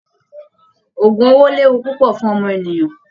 Ògùn owó léwu púpọ̀ fún ọmọnìyàn